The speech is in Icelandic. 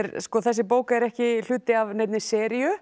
þessi bók er ekki hluti af neinni seríu